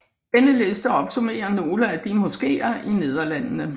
Denne liste opsummerer nogle af de moskeer i Nederlandene